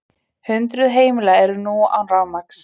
Hundruð heimila eru nú án rafmagns